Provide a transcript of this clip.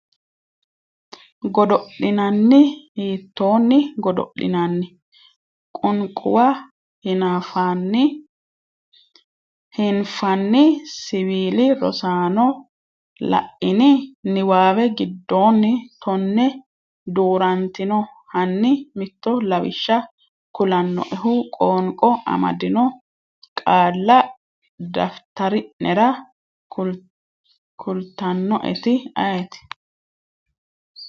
godo’linanni? hiittoonni godo’linanni? Qunquma hiinfanni siwiili Rosaano, la’ini? niwaawe giddonni tonne duu’rantino Hanni mitto lawishsha kulannoehu qoonqo amaddino qaalla daftari’nera kultannoeti ayeeti?